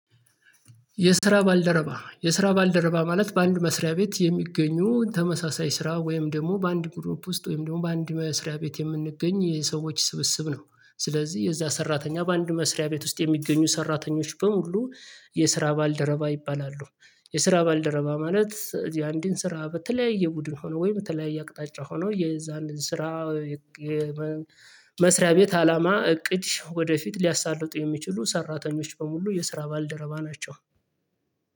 የስራ ባልደረባ የስራ ባልደረባ ማለት በአንድ መስሪያ ቤት የሚገኙ ተመሳሳይ ስራ ወይም ደግሞ በአንድ ግሩፕ ውስጥ ወይም ደግሞ በአንድ መስሪያ ቤት የምንገኝ የሰዎች ስብስብ ነው። ስለዚህ የዛ ሰራተኛ በአንድ መስሪያ ቤት ውስጥ የሚገኙ ሰራተኞች በሙሉ የስራ ባልደረባ ይባላሉ። የስራ ባልደረባ ማለት እዚህ አንድን ስራ በተለያየ ቡድን ሆኖ ወይም በተለያየ አቅጣጫ ሆኖ የዛን ስራ መስሪያ ቤት አላማ እቅድ ወደፊት ሊያሳልጡ የሚችሉ ሰራተኞች በሙሉ የስራ ባልደረባ ናቸው።